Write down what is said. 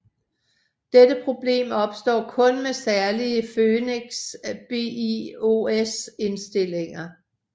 Dette problem opstår kun med særlige Phoenix BIOS indstillinger